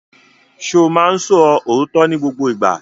Ṣo máa ń sọ òótọ́ ní gbogbo ìgbà?